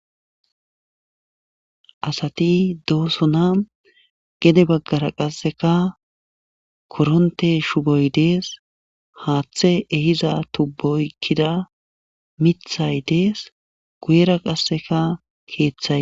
Asati doosona gede baggara qasseka koronte shuboy dees haaththe ehiza tubboykkida mithay dees guyera qasseka keeththay.